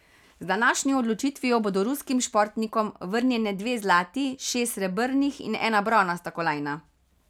Z današnjo odločitvijo bodo ruskim športnikom vrnjene dve zlati, šest srebrnih in ena bronasta kolajna.